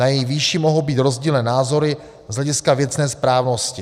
Na její výši mohou být rozdílné názory z hlediska věcné správnosti.